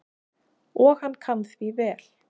Og hann kann því vel.